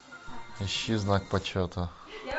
ищи знак почета